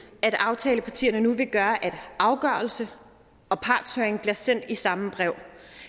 at aftalepartierne nu vil gøre at afgørelse og partshøring bliver sendt i samme brev